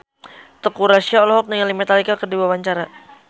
Teuku Rassya olohok ningali Metallica keur diwawancara